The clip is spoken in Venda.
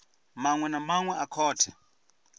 maṅwe na maṅwe a khothe